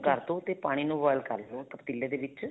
ਕਰਦੋ ਤੇ ਪਾਣੀ ਨੂੰ boil ਕਰਲੋ ਉਸ ਪਤੀਲੇ ਦੇ ਵਿੱਚ